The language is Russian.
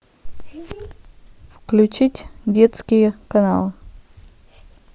включить детские каналы